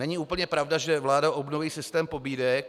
Není úplně pravda, že vláda obnoví systém pobídek.